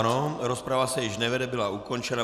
Ano, rozprava se již nevede, byla ukončena.